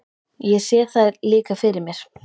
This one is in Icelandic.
Ég sé þær líka fyrir mér.